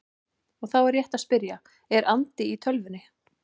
Og þá er rétt að spyrja: Er andi í tölvunni?